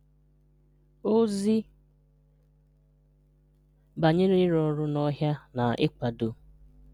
Òzì banyerè ịrụ́ ọ̀rụ́ n’ọhịà na ịkwàdò.